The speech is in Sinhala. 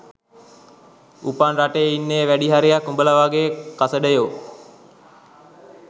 උපන් රටේ ඉන්නේ වැඩි හරියක් උඹල වග කසඩයෝ